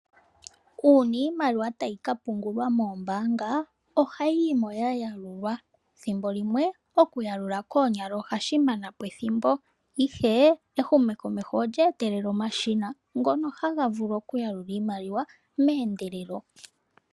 Una iimaliwa tayi ka pungulwa moombanga ohayi yimo ya yalulwa. Thimbo limwe oku yalula koonyala ohashi mana po ethimbo, ihe ehumokomeho olye etele omashina ngono haga vulu oku yalula iimaliwa meendelelo.